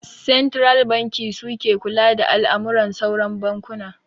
Santiral banki suke kula da al'amuran sauran bankuna